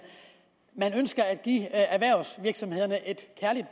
ønsker at give erhvervsvirksomhederne et kærligt